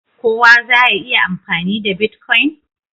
kowa za ya iya amfani da " Bitcoin"?